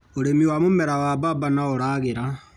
ũrĩmi wa mũmera wa bamba noũragĩra.